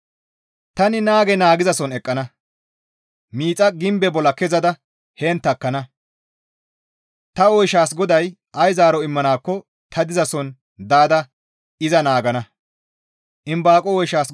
Tani naage naagizason eqqana; miixa gimbe bolla kezada heen takkana. Ta oyshaas GODAY ay zaaro immanakko ta dizason daada iza naagana.